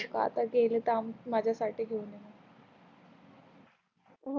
आता गेली तर आन माझ्यासठी घेवून ये मग